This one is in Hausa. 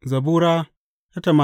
Zabura Sura